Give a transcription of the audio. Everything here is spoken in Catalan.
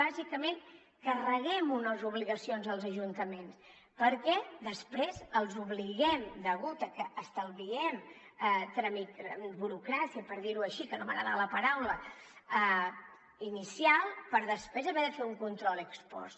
bàsicament carreguem unes obligacions als ajuntaments perquè després els obliguem degut a que estalviem burocràcia per dir ho així que no m’agrada la paraula inicial per després haver de fer un control ex post